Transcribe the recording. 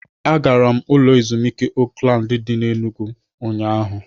Agara m ụlọ ezumuike Oakland dị n'Enugwu ụnyahụ